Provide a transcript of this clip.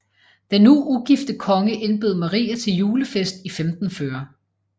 Den nu ugifte konge indbød Maria til julefest i 1540